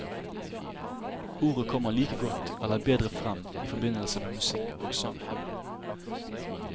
Ordet kommer like godt eller bedre frem i forbindelse med musikk og sang.